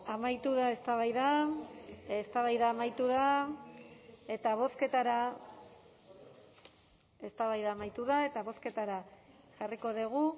amaitu da eztabaida eztabaida amaitu da eta bozketara eztabaida amaitu da eta bozketara jarriko dugu